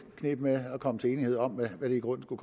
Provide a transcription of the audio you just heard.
kneb med at komme til enighed om hvad det i grunden skulle